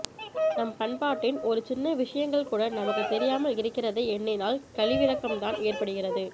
நம் பண்பாட்டின் ஒரு சின்ன விஷயங்கள்கூட நமக்குத்தெரியாமல் இருக்கிறதை எண்ணினால் கழிவிரக்கம்தான் ஏற்படுகிறது